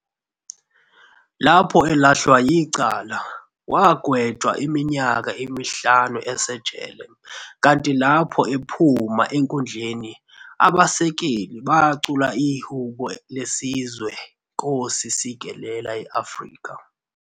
Lapho elahlwa yicala, wagetshwa iminyaka emihlanu esejele, kanti lapho ephuma enkundleni, abasekeli bacula ihhubo lesizwe i-"Nkosi Sikelel iAfrika".